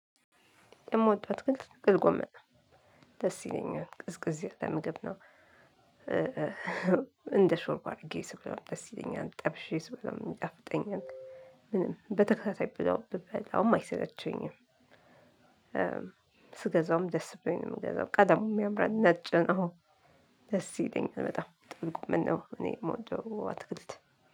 የምወደው አትክልት ጥቅል ጎመን ነው። ደስ ይለኛል ቅዝቅዝ ያለ ምግብ ነው። እንደሾርቦ አድርጌ ስበላውም ደስ ይለኛል ጠብሼ ስበላውም ይጣፍጠኛል። ምንም በተከታታይ ብለው ብበላውም አይሰለቸኝም። ስገዛውም ደስ ብሎኝ ነው ምገዛው ቀለሙም ያምራል ነጭ ነው። ደስ ይለኛል በጣም ጥልቅ ጎመን ነው። እኔ ምወደው አትክልት